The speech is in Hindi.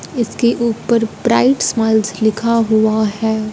इसके ऊपर प्राइड्स स्माइल्स लिखा हुआ है।